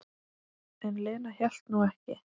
En Lena hélt nú ekki.